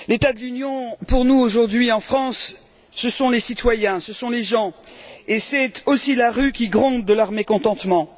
Monsieur le Président, l'état de l'Union pour nous aujourd'hui, en France, ce sont les citoyens, ce sont les gens, et c'est aussi la rue qui gronde de leur mécontentement.